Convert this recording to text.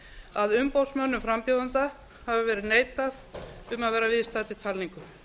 að umboðsmönnum frambjóðenda hafi verið neitað um að vera viðstaddir talningu